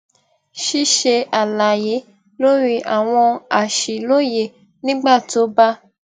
ṣíṣe àlàyé lórí àwọn àṣìlóye nígbà tó bá